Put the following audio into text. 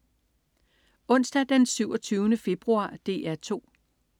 Onsdag den 27. februar - DR 2: